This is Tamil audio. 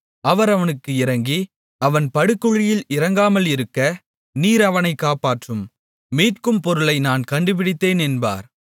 அவர் அவனுக்கு இரங்கி அவன் படுகுழியில் இறங்காமல் இருக்க நீர் அவனைக் காப்பாற்றும் மீட்கும் பொருளை நான் கண்டுபிடித்தேன் என்பார்